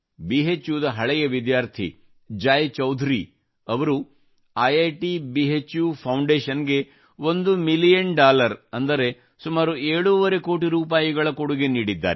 BHUದ ಹಳೆಯ ವಿದ್ಯಾರ್ಥಿ ಜಯ್ ಚೌಧರಿ ಅವರು ಐಟ್ ಭುಫೌಂಡೇಶನ್ ಗೆ ಒಂದು ಮಿಲಿಯನ್ ಡಾಲರ್ ಅಂದರೆ ಸುಮಾರು ಏಳೂವರೆ ಕೋಟಿ ರೂಪಾಯಿ ಕೊಡುಗೆ ನೀಡಿದ್ದಾರೆ